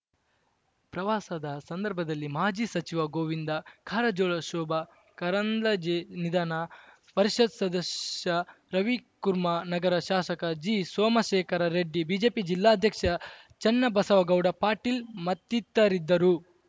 ಪ್ರವಾಸದ ಸಂದರ್ಭದಲ್ಲಿ ಮಾಜಿ ಸಚಿವ ಗೋವಿಂದ ಕಾರಜೋಳ ಶೋಭಾ ಕರಂದ್ಲಾಜೆ ನಿಧಾನ ಪರಿಷತ್‌ ಸದಸ್ಯ ರವಿಕುರ್ಮಾ ನಗರ ಶಾಸಕ ಜಿಸೋಮಶೇಖರ ರೆಡ್ಡಿ ಬಿಜೆಪಿ ಜಿಲ್ಲಾಧ್ಯಕ್ಷ ಚನ್ನಬಸವಗೌಡ ಪಾಟೀಲ್‌ ಮತ್ತಿತರಿದ್ದರು